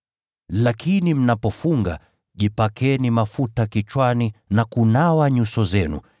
Lakini mnapofunga, jipakeni mafuta kichwani na kunawa nyuso zenu